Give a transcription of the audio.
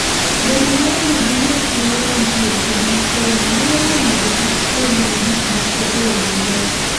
Bedo maonge gi ng'at molony e weche mag somo nyalo miyo ng'ato kik puonjre gik moko e yo maber.